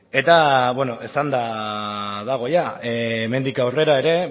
eta beno esanda dago hemendik aurrera ere